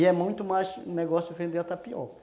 E é muito mais um negócio de vender a tapioca.